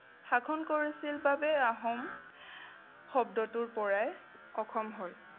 শাসন কৰিছিল বাবে আহোম শব্দটোৰপৰাই অসম হ'ল।